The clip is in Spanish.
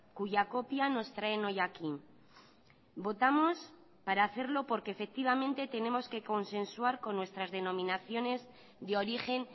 cuya copia nos traen hoy aquí votamos para hacerlo porque efectivamente tenemos que consensuar con nuestras denominaciones de origen